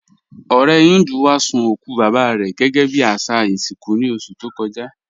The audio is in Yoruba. Ọ̀rẹ̀ Híndú wá sun okù baba rẹ gẹgẹ́ bí àṣà ìṣinkú ní oṣù tó kọ́jà.